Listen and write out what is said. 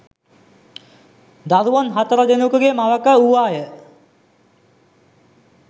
දරුවන් හතර දෙනකුගේ මවක වූවාය